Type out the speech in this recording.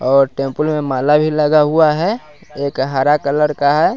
और टेंपुल में माला भी लगा हुआ है एक हरा कलर का है।